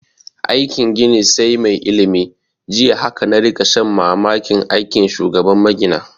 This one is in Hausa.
Aikin gini sai mai ilimi, jiya haka na rika shan mamakin aikin shugaban magina